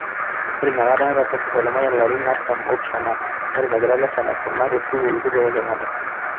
Ore ina kata eeta Pof Lemayian ilarin artam oopishana neton egira Leshan aisuma te sukuul kitok e Kenyatta